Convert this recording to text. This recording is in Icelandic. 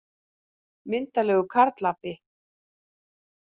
Myndarlegur karlapi.